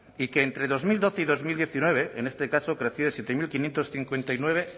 y que entre dos mil doce y dos mil diecinueve en este caso creció de siete mil quinientos cincuenta y nueve